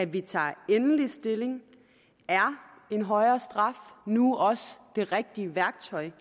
vi tager endelig stilling er en højere straf nu også det rigtige værktøj